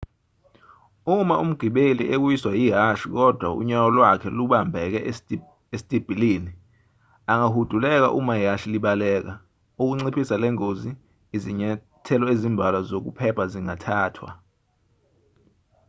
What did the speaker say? uma umgibeli ewiswa yihashi kodwa unyawo lwakhe lubambeke esitibilini angahuduleka uma ihhashi libaleka ukunciphisa lengozi izinyathelo ezimbalwa zokuphepha zingathathwa